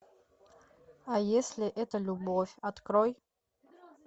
а если это любовь открой